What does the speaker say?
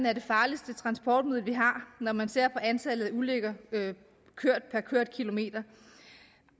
er det farligste transportmiddel vi har når man ser på antallet af ulykker per kørt kilometer